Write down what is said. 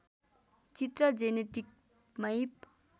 चित्र genetic map